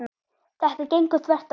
Þetta gengur þvert á það.